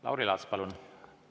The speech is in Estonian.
Lauri Laats, palun!